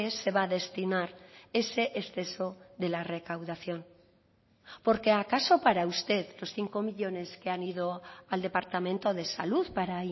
se va a destinar ese exceso de la recaudación porque acaso para usted los cinco millónes que han ido al departamento de salud para